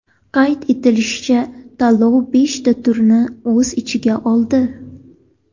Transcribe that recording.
Qayd etilishicha, tanlov beshta turni o‘z ichiga oldi.